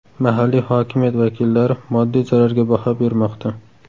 Mahalliy hokimiyat vakillari moddiy zararga baho bermoqda.